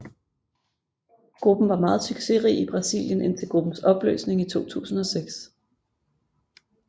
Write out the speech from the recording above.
Gruppen var meget succesrig i Brasilien indtil gruppens opløsning i 2006